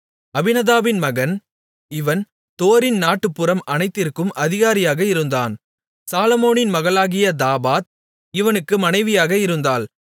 அபினதாபின் மகன் இவன் தோரின் நாட்டுப்புறம் அனைத்திற்கும் அதிகாரியாக இருந்தான் சாலொமோனின் மகளாகிய தாபாத் இவனுக்கு மனைவியாக இருந்தாள்